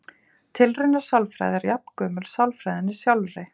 Tilraunasálfræði er jafngömul sálfræðinni sjálfri.